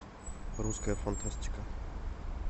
русская фантастика